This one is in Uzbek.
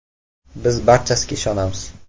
Biz barchasiga ishonamiz.